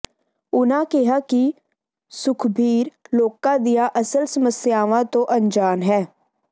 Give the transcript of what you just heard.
ਉਨਾਂ ਕਿਹਾ ਕਿ ਸੁਖਬੀਰ ਲੋਕਾਂ ਦੀਆਂ ਅਸਲ ਸਮਸਿਆਵਾਂ ਤੋਂ ਅਨਜਾਨ ਹੈ